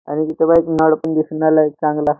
आणि तिथं बघ नळ पण दिसून राहिलाये एक चांगला.